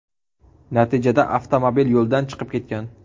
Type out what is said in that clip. Natijada avtomobil yo‘ldan chiqib ketgan.